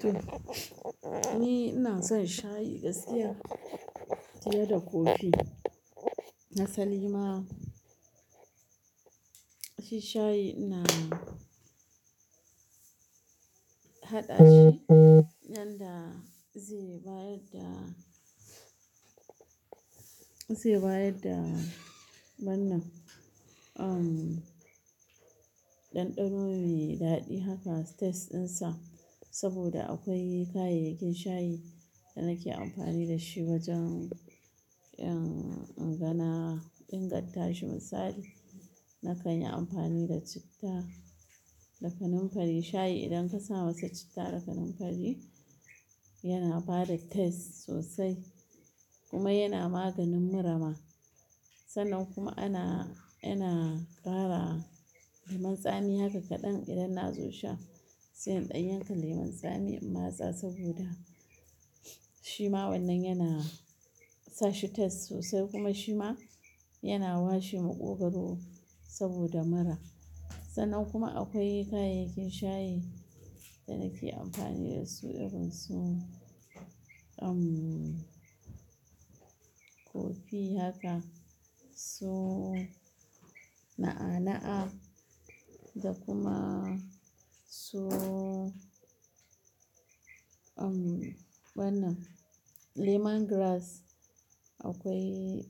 To, ni ina son shayi gaskiya fiye da kofi. Nasali ma, shi shayi na haɗa shi. Nan da zai bayar da, zai bayar da wannan. Um, ɗanɗano mai daɗi haka tasteɗinsa, saboda akwai kayayyakin shayi da nake amfani da shi wajen in ingana ingantashi misali, na kanyi amfani da citta, da kanumfari. Shayi idan ka sa masa citta da kanumfari yana bada taste sosai kuma yana maganin murama. Sannan kuma ana, ana kara lemun tsami haka kaɗan idan na zo sha. Sai in ɗai yanka lemun tsami in matsa saboda shi ma wannan yana sa shi taste sosai kuma shi ma yana washe maƙogwaro saboda mura. Sannan kuma akwai kayayyakin shayi da nake amfani da su irin su um, kofi haka, su na'a-na'a, da kuma su um, wannan lemongrass. Akwai